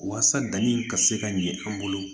Walasa danni in ka se ka ɲɛ an bolo